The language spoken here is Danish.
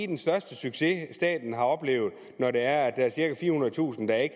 den største succes staten har oplevet når der er cirka firehundredetusind der ikke